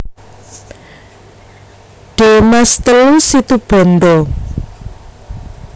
De Maas telu Situbondo